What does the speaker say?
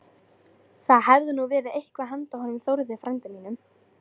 Það hefði nú verið eitthvað handa honum Þórði frænda mínum!